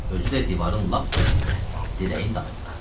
Özü də divarın lap dibində, dirəyin dalında.